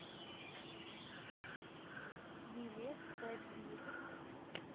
билет пэтбир